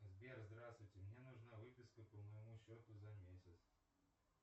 сбер здравствуйте мне нужна выписка по моему счету за месяц